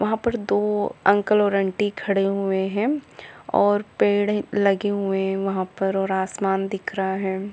वहां पर दो अंकल और आंटी खड़े हुए हैं और पेड़ लगे हुए हैं वहां पर और आसमान दिख रहा है।